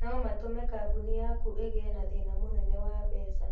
No matũme kambuni yaku ĩgĩe na thĩna mũnene wa mbeca.